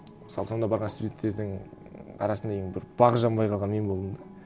мысалы сонда барған студенттердің арасында ең бір бағы жанбай қалған мен болдым да